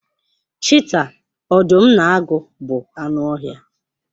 Chiita, ọdụm na agụ bụ anụ ọhịa.